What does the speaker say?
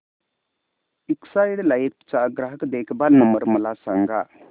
Exide life चा ग्राहक देखभाल नंबर मला सांगा